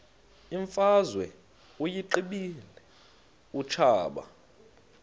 imfazwe uyiqibile utshaba